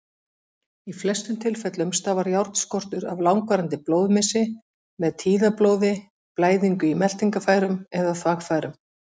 Í flestum tilfellum stafar járnskortur af langvarandi blóðmissi, með tíðablóði, blæðingu í meltingarfærum eða þvagfærum.